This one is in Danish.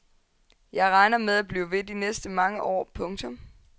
Jeg regner med at blive ved de næste mange år. punktum